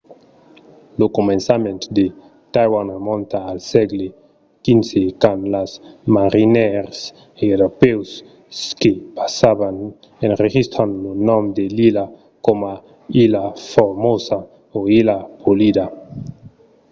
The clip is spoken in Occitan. lo començament de taiwan remonta al sègle xv quand de marinièrs europèus que passavan enregistran lo nom de l'illa coma ilha formosa o illa polida